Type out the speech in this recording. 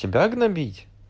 тебя гнобить